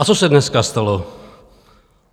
A co se dneska stalo?